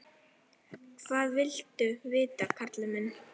Hvað viltu vita, karl minn?